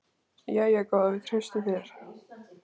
Jæja góða, við treystum þér.